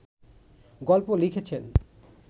গল্প লিখেছেন